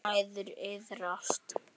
Mæður iðrast.